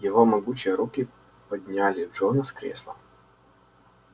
его могучие руки подняли джона с кресла